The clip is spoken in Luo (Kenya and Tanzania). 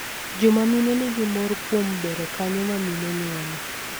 Joma mine nigi mor kuom bero kanyo ma mine nyuole.